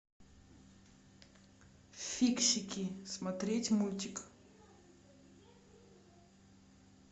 фиксики смотреть мультик